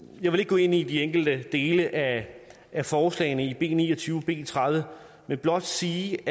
jeg vil ikke gå ind i de enkelte dele af forslagene b ni og tyve og b tredive men blot sige